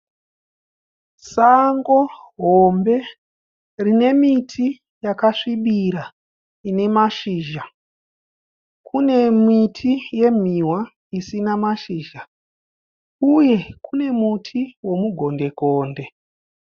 Sango hombe rine miti yakasvibira ine mashizha. Kune miti yemhiwa isina mashizha uye kune muti womuGonde-konde.